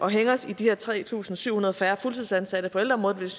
at hænge os i de her tre tusind syv hundrede færre fuldtidsansatte på ældreområdet hvis